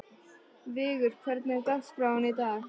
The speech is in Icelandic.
Vigur, hvernig er dagskráin í dag?